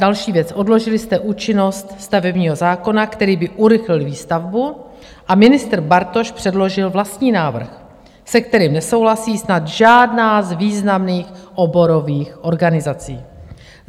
Další věc - odložili jste účinnost stavebního zákona, který by urychlil výstavbu, a ministr Bartoš předložil vlastní návrh, se kterým nesouhlasí snad žádná z významných oborových organizací.